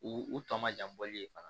U u tɔ ma jan bɔli ye fana